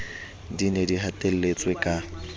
di ne di hatelletswe ka